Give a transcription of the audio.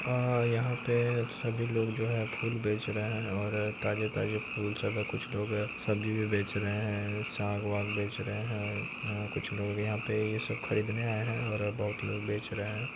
अ यहाँ पे सभी लोग जो है फूल बेच रहे हैं और ताजे ताजे फूल सब है कुछ लोग सब्जी भी बेच रहे हैं | साग वाग बेच रहे हैं कुछ लोग यहाँ पे ये सब खरीदने आए हैं और बोहोत लोग बेच रहे हैं।